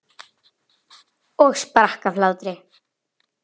Ártals er ekki getið.